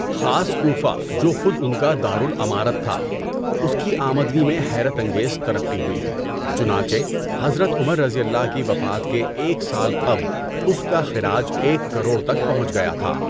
خاص کوفہ جو خود ان کا دار الامارۃ تھا، اس کی آمدنی میں حیرت انگیز ترقی ہوئی، چنانچہ حضرت عمرؓ کی وفات کے ایک سال قبل اس کا خِراج ایک کروڑ تک پہنچ گیا تھا۔